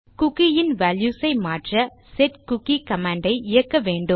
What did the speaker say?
cookie இன் values ஐ மாற்ற செட்குக்கி கமாண்ட் ஐ இயக்க வேண்டும்